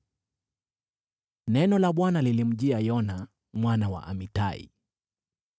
Neno la Bwana lilimjia Yona mwana wa Amitai: